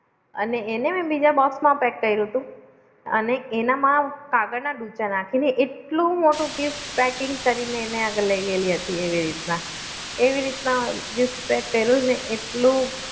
માં કરેલું પણ એને પછી બીજા પેક કરેલું એના મેં એના અંદર મેં નાખ્યા હતા બટાકા અને પછી બીજ એને એના એને મેં બીજા કર્યું હતું એના મમ્મી નાખ્યા હતા પથ્થર હા